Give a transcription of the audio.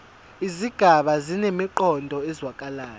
izigaba zinemiqondo ezwakalayo